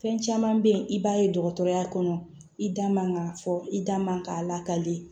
Fɛn caman bɛ yen i b'a ye dɔgɔtɔrɔya kɔnɔ i da man ka fɔ i da man ka lakali